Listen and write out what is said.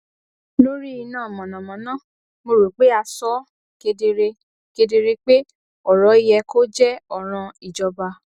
lórí iná mànàmáná mo rò pé a sọ ó kedere kedere pé ọrọ yẹ kó jẹ ọràn ìjọba